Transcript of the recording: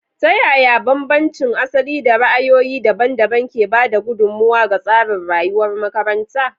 Ta yaya bambancin asali da ra'ayoyi daban-daban ke ba da gudummawa ga tsarin rayuwar makaranta?